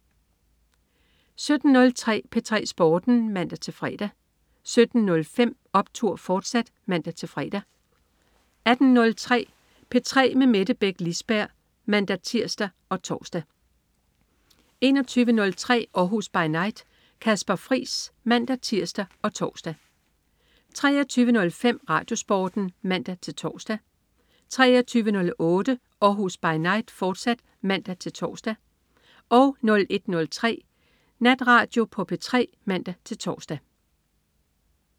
17.03 P3 Sporten (man-fre) 17.05 Optur!, fortsat (man-fre) 18.03 P3 med Mette Beck Lisberg (man-tirs og tors) 21.03 Århus By Night. Kasper Friis (man-tirs og tors) 23.05 RadioSporten (man-tors) 23.08 Århus By Night, fortsat (man-tors) 01.03 Natradio på P3 (man-tors)